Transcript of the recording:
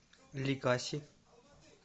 ликаси